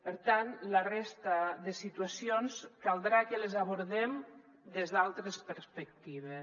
per tant la resta de situacions caldrà que les abordem des d’altres perspectives